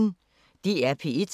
DR P1